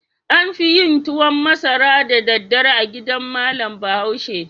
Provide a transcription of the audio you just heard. An fi yin tuwan masara da daddare a gidan malam Bahaushe.